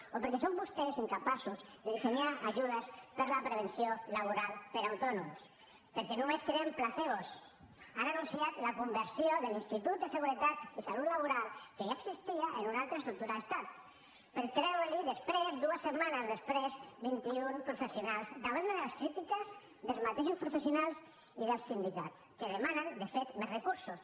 o perquè són vostès incapaços de dissenyar ajudes per a la prevenció laboral per a autònoms perquè només creen placebos han anunciat la conversió de l’institut de seguretat i salut laboral que ja existia en una altra estructura d’estat per treure li després dues setmanes després vint i un professionals davant de les crítiques dels mateixos professionals i dels sindicats que demanen de fet més recursos